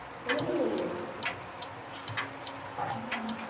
তাহলে তুই মেসে যাবি তো। হম